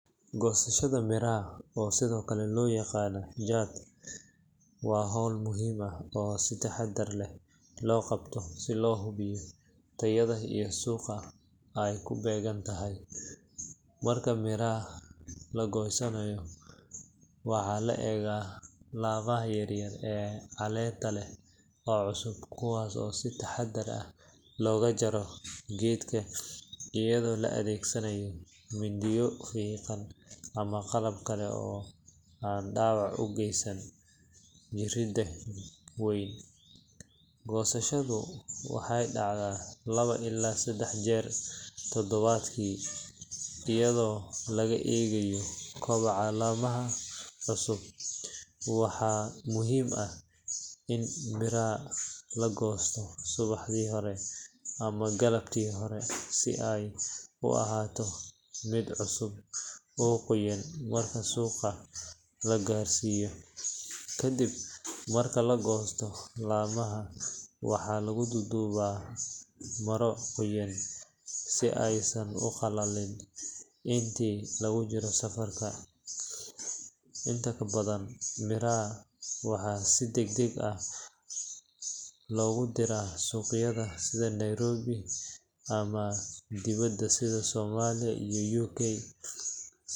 Godashada miraha oo sido kale loo yaqaano jaad waa howl muhiim ah oo si taxadar leh loo qabto si loo hubiyo tayada iyo suuqa ay kubeegantahay marka miraha lagoosanayo waxaa la egaa lama yar yar ee caleenta leh oo cusub kuwaaso oo si taxadar ah loga jaaro gedka iyado la adeegsanayo mindiyo fiiqan ama qalab kale oo an dhaabac ogeysan mirida weyn ,gosashada waxay dhacdaa laba ila sedex jeer tadabadkii iyado laga eegayo kaboca lamaha cusub waxaa muhiim ah in miraha lagosto subaxdii hore ama galabtii hore si ay u ahaato mid cusub oo qoyan marka suuqa la gaarsiyo, kadib marka lagosto lamaha waxaa lugu duuduba maro qoyan si aysan u qalalin intii lugu jiro safarka, inta kabadan miraha waxaa si degdeg ah logu dira suqyada sida Nairobi ama dibada sida Somalia iyo Uk